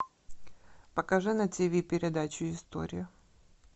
покажи на тв передачу история